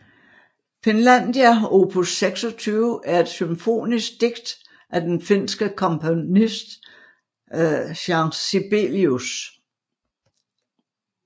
Finlandia opus 26 er et symfonisk digt af den finske komponist Jean Sibelius